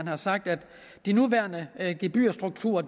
har sagt at de nuværende gebyrstrukturer